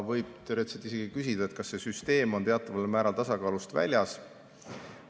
Võib teoreetiliselt isegi küsida, kas see süsteem on teataval määral tasakaalust väljas.